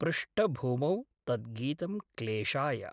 पृष्ठभूमौ तत् गीतं क्लेशाय।